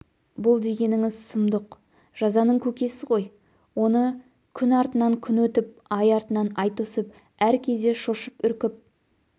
бұл дегеніңіз сұмдық жазаның көкесі ғой оны күн артынан күн күтіп ай артынан ай тосып әр кезде шошып-үркіп